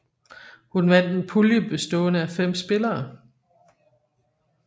Hun vandt en pulje bestående af fem spillere